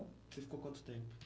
Você ficou quanto tempo?